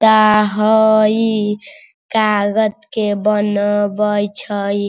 ता हई कागज के बनवे छई।